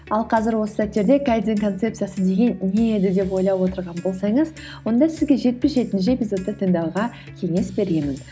ал қазір осы сәттерде кайдзен концепциясы деген не еді деп ойлап отырған болсаңыз онда сізге жетпіс жетінші эпизодты тыңдауға кеңес беремін